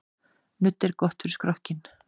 Nudd er gott fyrir skrokkinn.